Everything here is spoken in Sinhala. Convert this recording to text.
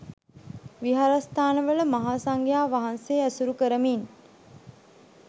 විහාරස්ථානවල මහා සංඝයා වහන්සේ ඇසුරු කරමින්